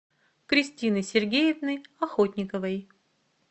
кристины сергеевны охотниковой